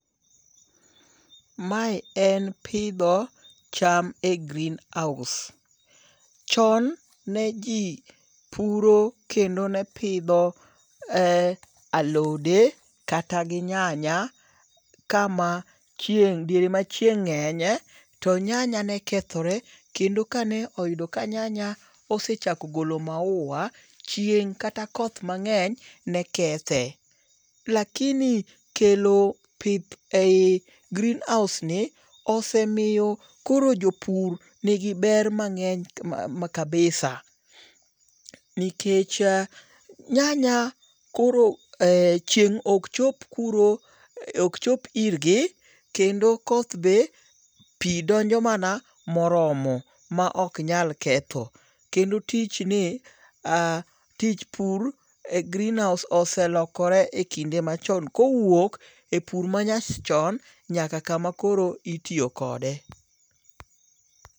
Mae en pidho cham e greenhouse. Chon ne ji puro kendo ne pidho alode kata gi nyanya kama chieng' diere ma chieng' ng'enye. To nyanya ne kethore kendo kane oyudo ka nyanya osechako golo maua chieng' kata koth mang'eny ne kethe. Lakini kelo pith e yi greehouse ni osemiyo koro jopur nigi ber mang'eny kabisa. Nikech nyanya koro chieng' ok chop kuro ok chop irgi kendo koth be pi ndonjo mana moromo ma ok nyal ketho. Kendo tich ni tij pur e greenhouse oselokore e kinde machon kowuok e pur manyachon nyaka kama koro itiyo kode.